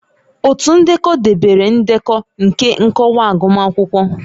Otu ndekọ debere ndekọ nke nkọwa agụmakwụkwọ